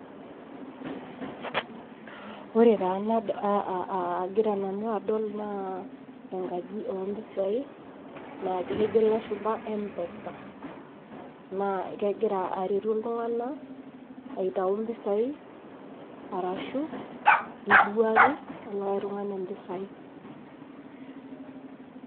Ore taa agira nanu adol naa, enkaji oo mpisai naaji kejo ilashumba M-pesa. Naa kegira aretu iltung'ana aitayu impisai arashu iriwaki likai tung'ani impisai.